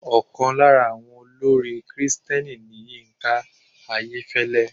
Ọkàn lára àwọn olórin kìrìtẹ̀ni ni Yínká Ayẹ́fẹ́lẹ́.